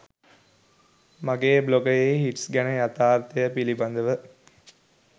මගේ බ්ලොගයේ හිට්ස් ගැන යතාර්ථය පිළිබඳව